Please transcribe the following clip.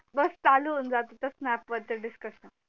बस चालू होऊन जात त snap वर चं discussion